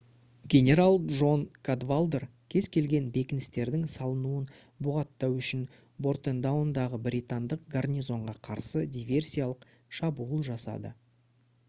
генерал джон кадвалдер кез-келген бекіністердің салынуын бұғаттау үшін бордентаундағы британдық гарнизонға қарсы диверсиялық шабуыл жасады